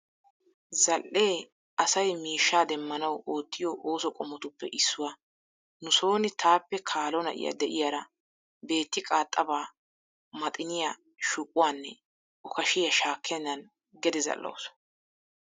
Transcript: Zal"ee asay miishshaa demmanawu oottiyo ooso qommotuppe issuwa. Nu sooni taappe kaalo na'iya de'iyaara beetti qaaxxaba maxiniya; shuquwaanne okashiya shaakkennan gede zal"awusu.